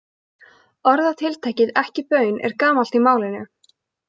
Orðatiltækið ekki baun er gamalt í málinu.